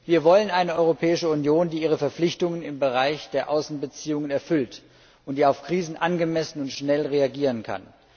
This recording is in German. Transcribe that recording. Wir wollen eine Europäische Union, die ihre Verpflichtungen im Bereich der Außenbeziehungen erfüllt und auf Krisen angemessen und schnell reagieren kann.